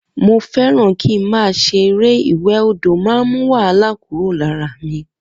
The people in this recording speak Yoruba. Mo fé ràn ki ma ṣe eré ìwè odò man mú wahala kuro lara mí